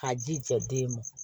K'a ji jɛ den ma